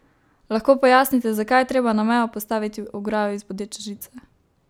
Lahko pojasnite, zakaj je treba na mejo postaviti ograjo iz bodeče žice?